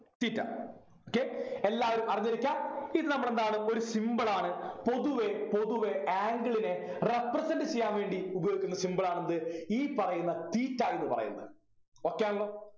theta okay എല്ലാവരും അറിഞ്ഞിരിക്കാ ഇത് നമ്മളെന്താണ് ഒരു symbol ആണ് പൊതുവെ പൊതുവെ angle നെ represent ചെയ്യാൻ വേണ്ടി ഉപയോഗിക്കുന്ന symbol ആണ് എന്ത് ഈ പറയുന്ന theta എന്ന് പറയുന്നത് okay ആണല്ലോ